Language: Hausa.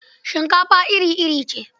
Shinkafa iri-iri ce.